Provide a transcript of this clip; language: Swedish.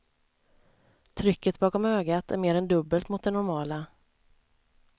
Trycket bakom ögat är mer än dubbelt mot det normala.